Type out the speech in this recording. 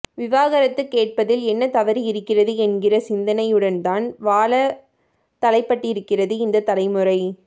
விவாகரத்துக் கேட்பதில் என்ன தவறு இருக்கிறது என்கிற சிந்தனையுடன்தான் வாழ தலைப்பட்டிருக்கிறது இந்தத் தலைமுறை